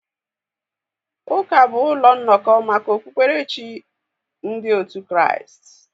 Ụka bụ ụlọ nnọkọ maka okpukpere chi ndị otu Kraịst.